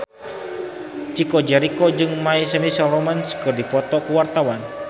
Chico Jericho jeung My Chemical Romance keur dipoto ku wartawan